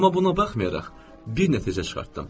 Amma buna baxmayaraq bir nəticə çıxartdım.